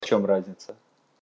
в чём разница